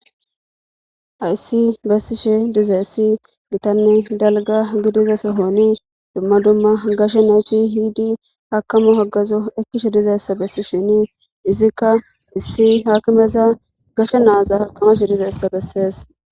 Ayssi bessishe dizay essi gitanne dalga gidiza sohooni dumma dumma gashe nayki hidi haakamu hagazo ekkishe dizayssa bessi shini izikka issi haakimeza gashe naaza hakamashe dizeessa bessees.